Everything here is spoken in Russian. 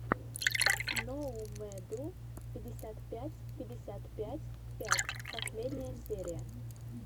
ноумэдйу пятьдесят пять пятьдесят пять пять последняя серия